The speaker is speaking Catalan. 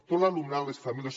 tot l’alumnat les famílies